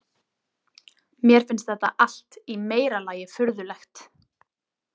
Mér finnst þetta allt í meira lagi furðulegt.